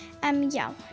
já